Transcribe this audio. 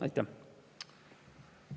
Aitäh!